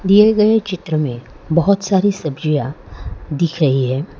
दिए गए चित्र में बहोत सारी सब्जियां दिख रही है।